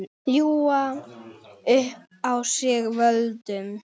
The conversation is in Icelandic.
Ljúga upp á sig völdum?